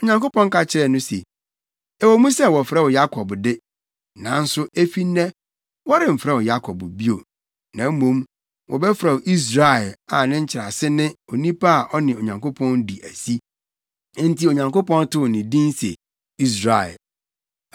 Onyankopɔn ka kyerɛɛ no se, “Ɛwɔ mu sɛ wɔfrɛ wo Yakob de, nanso efi nnɛ, wɔremfrɛ wo Yakob bio, na mmom, wɔbɛfrɛ wo Israel a ne nkyerɛase ne Onipa a ɔne Onyankopɔn adi asi.” Enti Onyankopɔn too ne din se Israel.